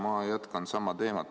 Ma jätkan sama teemat.